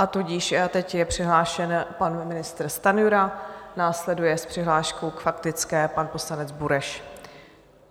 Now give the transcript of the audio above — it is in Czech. A tudíž teď je přihlášen pan ministr Stanjura, následuje s přihláškou k faktické pan poslanec Bureš.